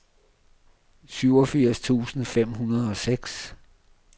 syvogfirs tusind fem hundrede og seks